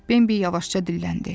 Bembi yavaşca dilləndi.